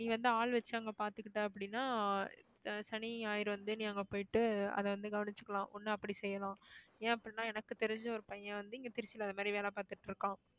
நீ வந்து ஆள் வச்சு அங்க பாத்துக்கிட்ட அப்படின்னா ஆஹ் சனி, ஞாயிறு வந்து நீ அங்க போயிட்டு அத வந்து கவனிச்சுக்கலாம் ஒண்ணு அப்படி செய்யலாம் ஏன் அப்படின்னா எனக்கு தெரிஞ்ச ஒரு பையன் வந்து இங்க திருச்சியில அந்த மாதிரி வேலை பார்த்துட்டு இருக்கான்